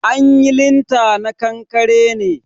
An yi linta na kankare ne